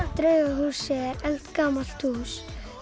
draugahúsið er eldgamalt hús